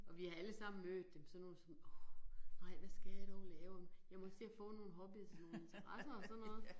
Og vi har allesammen mødt dem, sådan nogle som åh nej hvad skal jeg dog lave om, jeg må se at få nogle hobbyer og nogle interesser og sådan noget